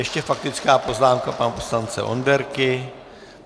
Ještě faktická poznámka pana poslance Onderky.